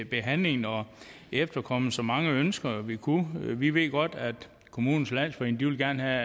behandlingen og har efterkommet så mange ønsker vi kunne vi ved godt at kommunernes landsforening gerne